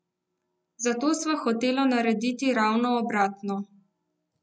Zato sva hotela narediti ravno obratno.